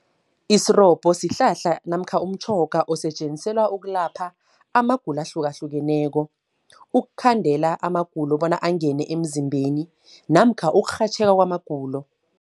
Isirobho sihlahla namkha umtjhoga, osetjenziselwa ukulapha amagulo ahlukahlukeneko. Ukukhandela amagulo bona angene emzimbeni, namkha ukurhatjheka kwamagulo.